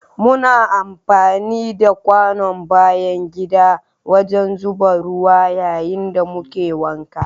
Muna amfani da kwanon bayan gida wajen zuba ruwa yayin da muke wanka.